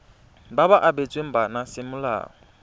ba ba abetsweng bana semolao